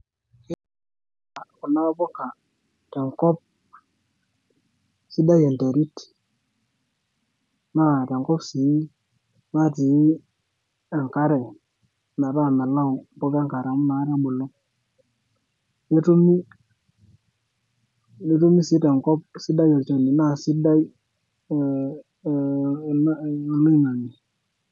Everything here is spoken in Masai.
Ketumi taa kuna puka tenkop sidai enteri naa tenkop sii natii engare, metaa melau impuka engare amu nakata ebulu, netumi sii tenkop sidai entil naa sidai oloing'ang'e.